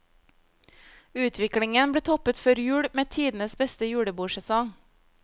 Utviklingen ble toppet før jul med tidenes beste julebordsesong.